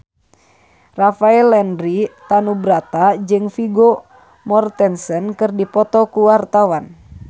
Rafael Landry Tanubrata jeung Vigo Mortensen keur dipoto ku wartawan